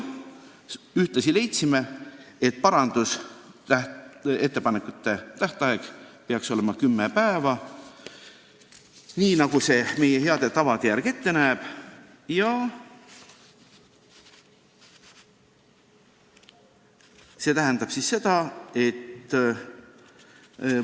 Ühtlasi leidsime, et parandusettepanekute tähtaeg peaks olema kümme tööpäeva, nii nagu meie hea tava ette näeb, ja see tähendab siis seda, et ...